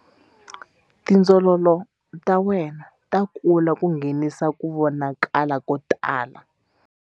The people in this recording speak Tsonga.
Tindzololo ta wena ta kula ku nghenisa ku vonakala ko tala.